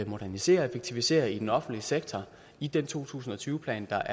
modernisere og effektivisere i den offentlige sektor i den to tusind og tyve plan der